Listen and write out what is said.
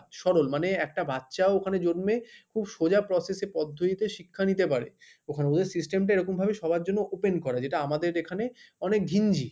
সরল মানে একটা বাচ্চাও ওখানে জন্মে খুব সোজা process এ পদ্ধতিতে শিক্ষা নিতে পারে ওখানে ওদের system টা এরকম ভাবে সবার জন্য open করা যেটা আমাদের এখানে অনেক ঘিঞ্জি।